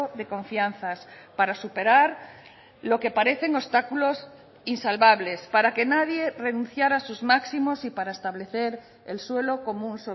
de confianzas para superar lo que parecen obstáculos insalvables para que nadie renunciara sus máximos y para establecer el suelo común